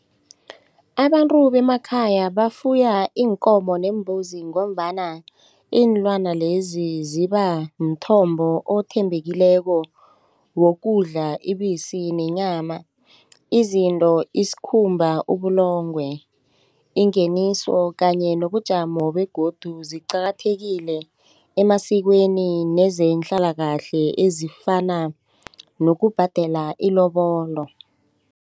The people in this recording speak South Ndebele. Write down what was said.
Abantu bemakhaya bafuya iinkomo neembuzi ngombana iinlwana lezi ziba mthombo othembekileko wokudla ibisi nenyama izinto isikhumba ubulongwe ingeniso kanye nobujamo begodu ziqakathekile emasikweni nezehlalakahle ezifana nokubhadela ilobolo.